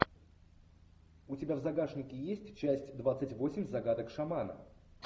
у тебя в загашнике есть часть двадцать восемь загадок шамана